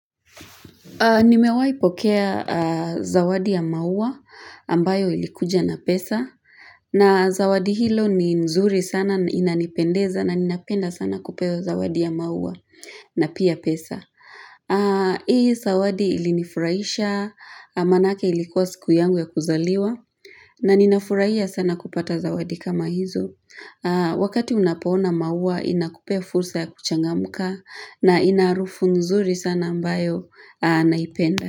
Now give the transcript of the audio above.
Nimewai pokea zawadi ya maua ambayo ilikuja na pesa na zawadi hilo ni nzuri sana inanipendeza na ninapenda sana kupewa zawadi ya maua na pia pesa. Hii zawadi ilinifurahisha maanayake ilikuwa siku yangu ya kuzaliwa na ninafurahia sana kupata zawadi kama hizo wakati unapo ona maua inakupea fursa ya kuchangamka na inaharufu nzuri sana ambayo naipenda.